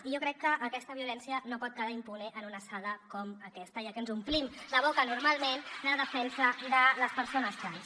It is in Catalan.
i jo crec que aquesta violència no pot quedar impune en una sala com aquesta ja que ens omplim la boca normalment amb la defensa de les persones trans